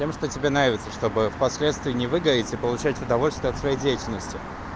тем что тебе нравится чтобы в последствии не выгореть и получать удовольствие от своей деятельности